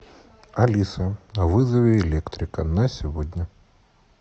алиса вызови электрика на сегодня